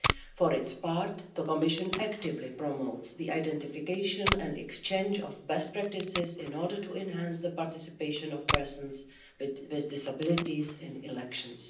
For its part, the Commission actively promotes the identification and exchange of best practices in order to enhance the participation of persons with disabilities in elections.